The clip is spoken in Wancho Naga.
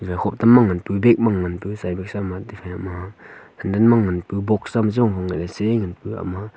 ela hope ma ngan tegu sibesa madefa ma handan ngan pu bok sa chom chong ese he ngan ouvega ma.